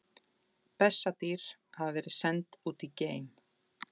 Bessadýr hafa verið send út í geim!